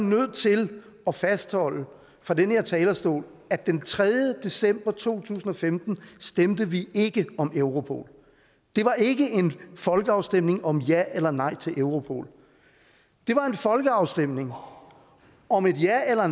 nødt til at fastholde fra den her talerstol at den tredje december to tusind og femten stemte vi ikke om europol det var ikke en folkeafstemning om ja eller nej til europol det var en folkeafstemning om et ja eller